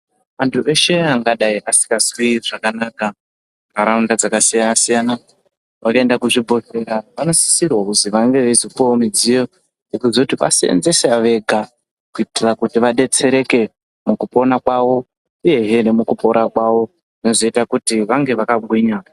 Vantu veshe vangadai vasingazwi zvakanaka mundaraunda dzakasiyana siyana vanoenda kuzvibhedhlera vanosisirwa kuzi vange veizopuwawo mudziyo wekuzoti vaseenzese vega kuitira kuti vadetsereke mukupona kwavo uyezve nemukupora kwavo zvozoita kuti vange vakagwinya.